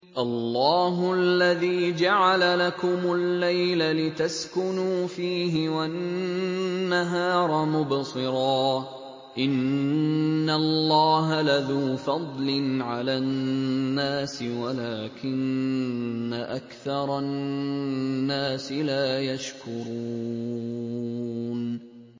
اللَّهُ الَّذِي جَعَلَ لَكُمُ اللَّيْلَ لِتَسْكُنُوا فِيهِ وَالنَّهَارَ مُبْصِرًا ۚ إِنَّ اللَّهَ لَذُو فَضْلٍ عَلَى النَّاسِ وَلَٰكِنَّ أَكْثَرَ النَّاسِ لَا يَشْكُرُونَ